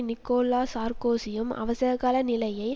Nicolas சார்க்கோசியும் அவசரகால நிலையை